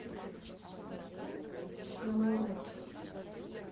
чилаут